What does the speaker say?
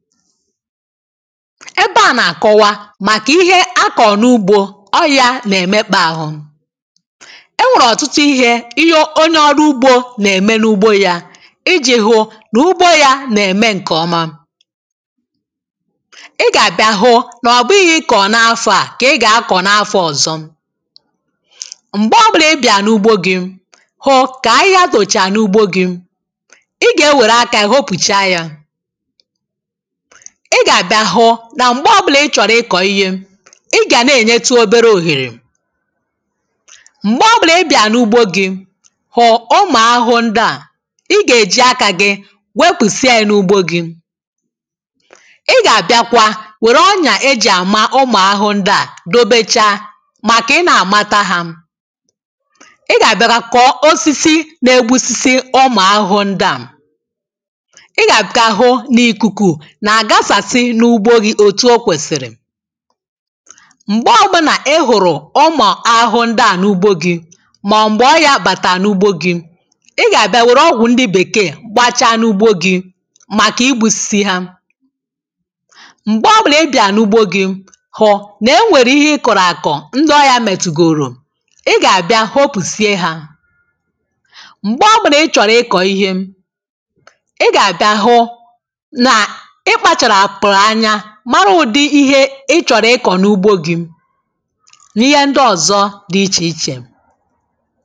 ebe à na-akọwa màkà ihe a kọ̀rọ̀ n’ugbȯ ọrịȧ nà-èmekpȧ ȧhụ̇ e nwèrè ọ̀tụtụ ihė onye ọrụ ugbȯ nà-ème n’ugbȯ yȧ iji̇ hụ nà ugbȯ yȧ nà-ème ǹkèọma ị gà-àbịa hụ n’ọ̀gbọ ihe i kọ̀ọ n’afọ̇ à kà ị gà-akọ̀ n’afọ̇ ọ̀zọ m̀gbè ọ bụlà ị bị̀à n’ugbȯ gị̇ hụ kà anyị̇ a dòchà n’ugbȯ gị̇ ị gà-ewère akȧ yȧ hopùcha yȧ ị gà-àbịa hụ nà m̀gbe ọbụlà ị chọ̀rọ̀ ịkọ̀ ihe ị gà na-ènyetu obere òhèrè m̀gbe ọbụlà ị bị̀à n’ugbo gị hụ̀ ụmụ̀ ahụhụ ndụ̀ à ị gà-èji akȧ gị wepùsịa yȧ n’ugbo gị ị gà-àbịakwa wère ọnyà ejì àma ụmụ̀ ahụhụ ndụ̀ à dobecha màkà ị na-àmata hȧ ị gà-àbịa kà kọọ osisi na-egbusisi ọmà ahụhụ ndụ̀ à ị gà-àbịkà hụ n’ikuku m̀gbe ọ̀gbụ̇nà ị hụ̀rụ̀ ụmụ̀ ahụhụ ndị à n’ugbo gị mà m̀gbè ọ yà bàtà n’ugbo gị ị gà-àbịa wère ọgwụ̀ ndị bèkeè gbachaa n’ugbo gị̇ màkà igbȯsìsì ha m̀gbe ọbụlà ị bìa n’ugbo gị̇ hụ nà e nwèrè ihe ị kọ̀rọ̀ àkọ̀ ndị ọ yȧ matugorò ị gà-àbịa hopùsie hȧ m̀gbe ọbụlà ị chọ̀rọ̀ ịkọ̀ ihe ị gà-àbịa hụ i chọ̀rọ̀ ịkọ̀ n’ugbȯ gị̇ n’ihe ndị ọ̀zọ dị ichè ichè